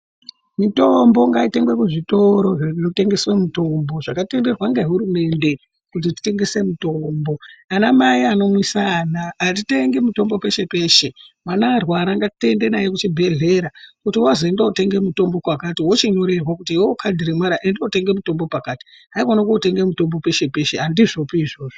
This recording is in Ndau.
Mitombo ngaitengwe kuzvitoro zvinotengeswe mitombo zvaktenderwe nehurumende kuti zvinotengeswe mitombo ana mai anoyamwisa hatitenge mitombo peshe-peshe kana mwana arwara ngatiende naye kuzvubhelera kuti wazi ende unotenge mitombo pakati wochinyorerwe kuti iwewe kadhi remwana enda unotenga mutombo pakati haikona kunotenga mitombo peshe peshe handizvopi izvozvo.